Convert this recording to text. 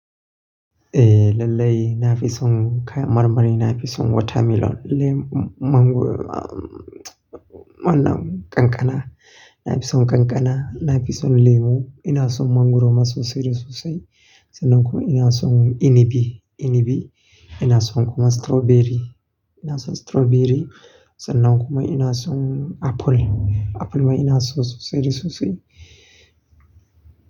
Eh, lallai na fi son kai marmari, na fi son watermelon, lemu mango, mana kankana. Na fi son kankana, na fi son lemu. Ina son mangwaro ma sosai da sosai sannan kuma ina son inibi, inibi. Ina son kuma strawberry, ina son strawberry sannan kuma ina son apple. Apple ma ina so sosai da sosai.